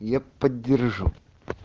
я поддержу